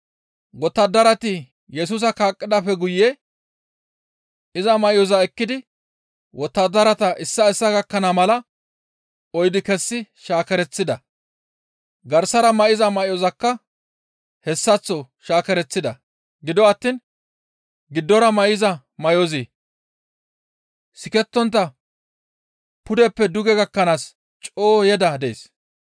Wottadarati Yesusa kaqqidaappe guye iza may7oza ekkidi wottadarata issaa issaa gakkana mala oyddu kessi shaakereththida. Garsara may7iza may7ozakka hessaththo shaakereththida. Gido attiin garsara may7iza may7ozi sikettontta pudeppe duge gakkanaas coo yeda dees.